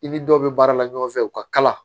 I ni dɔ be baara la ɲɔgɔn fɛ u ka kala